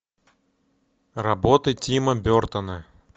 работы тима бертона